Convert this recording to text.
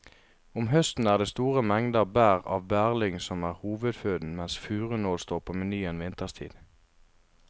Om høsten er det store mengder bær av bærlyng som er hovedføden mens furunål står på menyen vinterstid.